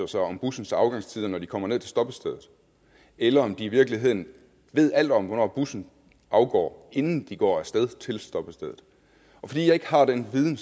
sig om bussens afgangstider når de kommer ned til stoppestedet eller om de i virkeligheden ved alt om hvornår bussen afgår inden de går af sted til stoppestedet fordi jeg ikke har den viden